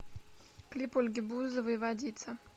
клип ольги бузовой водица